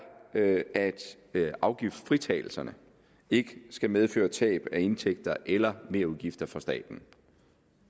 at afgiftsfritagelserne ikke skal medføre tab af indtægter eller merudgifter for staten